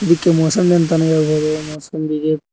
ಇದಕ್ಕೆ ಮೋಸಂಬಿ ಅಂತನೂ ಹೇಳ್ಬೋದು ಮೋಸಂಬಿಗೆ--